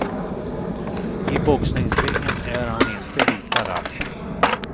I boxningsringen är han inte lika rapp.